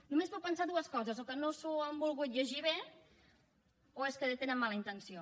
només puc pensar dues coses o que no s’ho han volgut llegir bé o és que tenen mala intenció